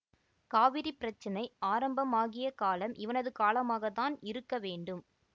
காவிரி பிரச்சனை ஆரம்பமாகிய காலம் இவனது காலமாக தான் இருக்க வேண்டும்